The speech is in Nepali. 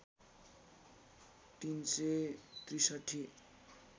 ३ सय ६३